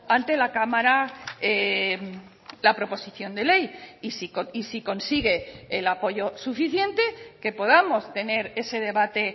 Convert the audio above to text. ante la cámara la proposición de ley y si consigue el apoyo suficiente que podamos tener ese debate